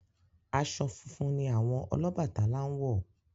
Aṣọ funfun ni àwọn Ọlọ́bàtálá ń wọ̀.